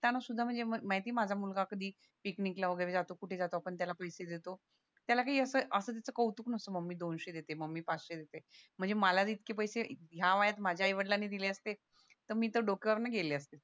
सुद्धा म्हणजे माहितेय माझा मुलगा कधी पिकनिकला वैगेरे जातो कुठे जातो आपण त्याला पैसे देतो त्याला काही असं त्याच कौतुक नास्ता मम्मी दोनशे देते मम्मी पाचशे देते म्हणजे मला तर इतके पैसे ह्या वयात माझ्या आई वडलांनी दिले असते तर मी तर डोक्यावरण गेले असते